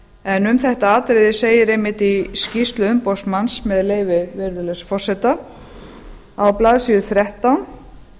en um þetta atriði segir einmitt í skýrslu umboðsmanns með leyfi virðulegs forseta á blaðsíðu þrettán